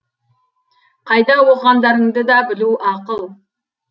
қайда оқығандарыңды да білу ақыл